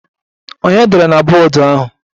Ònye dere na bọọdụ ahụ?